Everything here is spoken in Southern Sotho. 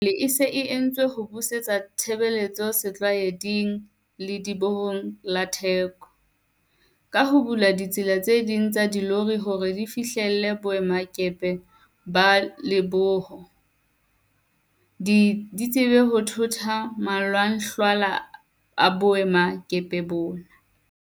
Tswelopele e se e entswe ho busetsa tshebetso setlwaeding Ledibohong la Thekong, ka ho bula ditsela tse ding tsa dilori hore di fihlelle boemakepe ba lediboho, di tsebe ho thotha malwanglwahla a boemakepeng bona.